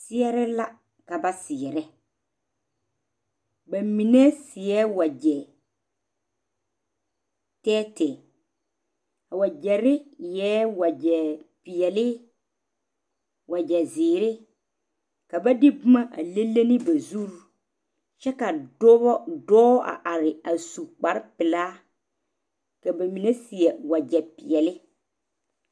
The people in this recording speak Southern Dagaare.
seɛre la ka ba seɛrɛ ba mine seɛ wagyɛ tɛɛtɛɛ a wagyɛre eɛɛ wagyɛ peɛle wagyɛ zeere ka ba de boma a le le ne ba zuri kyɛ ka dɔbɔ dɔɔ a are a su kpare pelaa ka ba mine seɛ wagyɛ peɛle